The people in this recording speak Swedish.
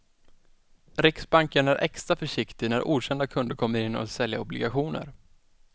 Riksbanken är extra försiktig när okända kunder kommer in och vill sälja obligationer.